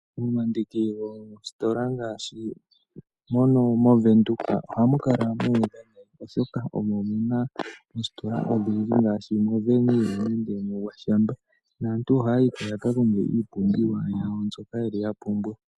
Momandiki goositola ngaashi mono moVenduka ohamu kala muudha nayi oshoka omo muna oositola odhindji ngaashi moVenill nengè moGwashamba. Aantu ohaya yiko yakakonge iipumbiwa yawo mbyoka yapumbwa.